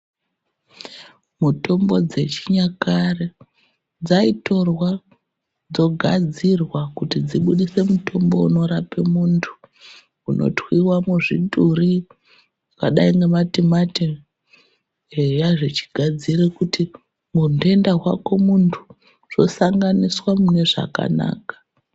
Mitombo dzechinyakare dzaitorwa dzogadzirwa kuti dzibudise mutombo unorape muntu. Kunotwiva muzvituri padai ngematimati eya zvechigadzire kuti mundenda hwako muntu zvosanganiswa mune zvakanaka.